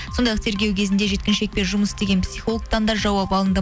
сондай ақ тергеу кезінде жеткіншекпен жұмыс істеген психологтан да жауап алынды